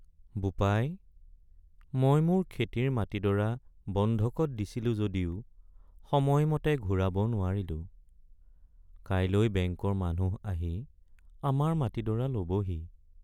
বোপাই, মই মোৰ খেতিৰ মাটিডৰা বন্ধকত দিছিলো যদিও সময়মতে ঘূৰাব নোৱাৰিলোঁ। কাইলৈ ​​বেংকৰ মানুহ আহি আমাৰ মাটিডৰা ল'বহি।